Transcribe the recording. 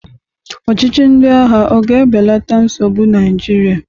Ọchịchị ndị agha ọ ga-ebelata nsogbu Naịjirịa?